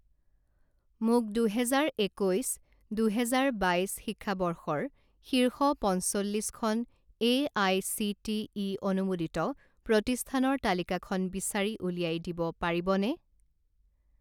মোক দুহেজাৰ একৈছ দুহেজাৰ বাইছ শিক্ষাবৰ্ষৰ শীৰ্ষ পঞ্চল্লিছখন এআইচিটিই অনুমোদিত প্ৰতিষ্ঠানৰ তালিকাখন বিচাৰি উলিয়াই দিব পাৰিবনে?